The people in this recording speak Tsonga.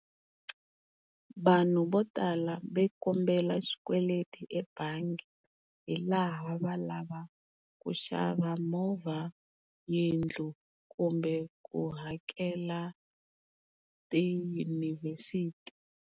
Vanhu vo tala va kombela xikweleti ebangi hilaha va lava ku xava movha, yindlu kumbe ku hakela tiyunivhesiti.